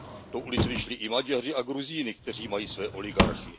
Do ulic vyšli i Maďaři a Gruzíni, kteří mají své oligarchy.